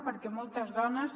perquè moltes dones